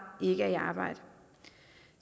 ikke er i arbejde